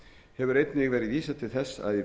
hefur einnig verið vísað til þess